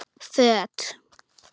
Föt